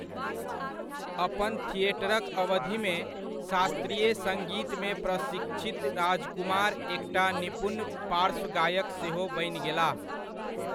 अपन थिएटरक अवधिमे, शास्त्रीय सङ्गीतमे प्रशिक्षित राजकुमार एकटा निपुण पार्श्व गायक सेहो बनि गेलाह।